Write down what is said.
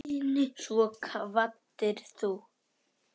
Svo kvaddir þú.